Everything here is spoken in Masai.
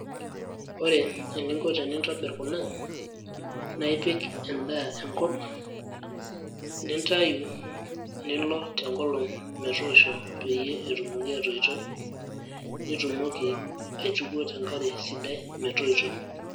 Ore eninko tenintobir kuna, na ipik endaa enkop, nintayu, nilo tenkolong' metoosho peyie etumoki atoito, nitumoki aituko tenkare sidai metoito.